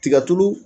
Tiga tulu